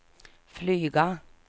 flyga